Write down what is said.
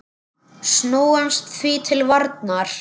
Snúumst því til varnar!